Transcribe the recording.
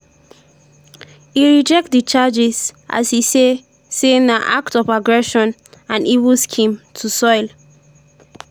e reject di charges as e say say na "act of aggression" and “evil scheme” to “soil”